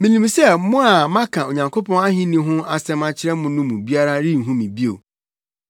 “Minim sɛ mo a maka Onyankopɔn ahenni no ho asɛm akyerɛ mo no mu biara renhu me bio.